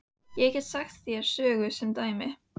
Ég get sagt þér sögu sem dæmi.